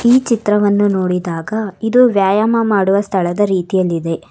ಈ ಚಿತ್ರವನ್ನು ನೋಡಿದಾಗ ಇದು ವ್ಯಾಯಾಮ ಮಾಡುವ ಸ್ಥಳದ ರೀತಿಯಲ್ಲಿದೆ.